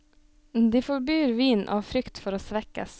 De forbyr vin av frykt for å svekkes.